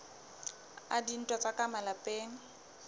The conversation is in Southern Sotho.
a dintwa tsa ka malapeng